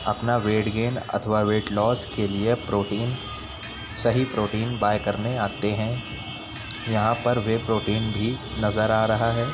अपना weight gain अथवा weight loss के लिए प्रोटिन सही प्रोटिन बाय करने आते है। यहाँ पर वे प्रोटिन भी नजर आ रहा है।